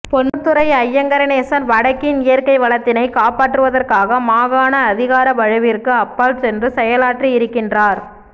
பொன்னுத்துரை ஐங்கரநேசன் வடக்கின் இயற்கை வளத்தினைக் காப்பாற்றுவதற்காக மாகாண அதிகார வலுவிற்கு அப்பால் சென்று செயலாற்றியிருக்கின்றார்